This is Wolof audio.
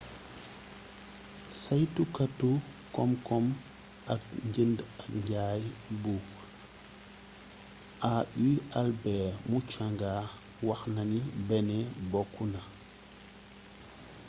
saytukatu komkom ak njënd ak njay bu au albert muchanga waxnani benin bokk na